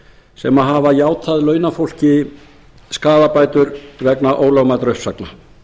sem hafa játað launafólki skaðabætur vegna ólögmætra uppsagna